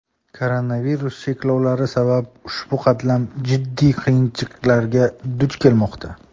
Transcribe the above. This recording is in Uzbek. Koronavirus cheklovlari sabab ushbu qatlam jiddiy qiyinchiliklarga duch kelmoqda.